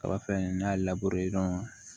Kaba fɛn n'i y'a